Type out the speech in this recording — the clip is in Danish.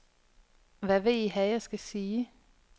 Hvad vil I have, jeg skal sige?